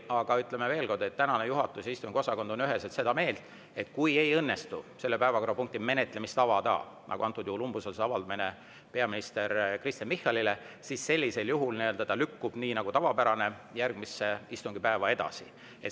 Aga ütlen veel kord, et juhatus ja istungiosakond on üheselt seda meelt, et kui ei õnnestu selle päevakorrapunkti menetlemist avada, nagu antud juhul oli peaminister Kristen Michalile umbusalduse avaldamise puhul, siis sellisel juhul see lükkub nii nagu tavapärane järgmisesse istungipäeva edasi.